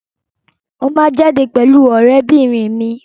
Mo máa jáde pẹ̀lú ọ̀rẹ́bìnrin mi.